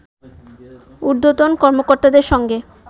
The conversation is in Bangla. উর্ধ্বতন কর্মকর্তাদের সঙ্গে